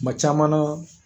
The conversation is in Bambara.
Kuma caman na